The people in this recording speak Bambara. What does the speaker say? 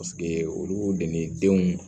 Paseke olu de ni denw